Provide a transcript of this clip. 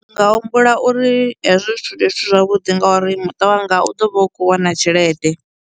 Ndi nga humbula uri hezwi zwithu ndi zwithu zwavhuḓi nga uri muṱa wanga u ḓo vha u khou wana tshelede.